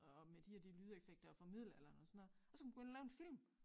Og med de og de lydeffekter fra middelalderen og sådan noget og så kan man gå ind og lave en film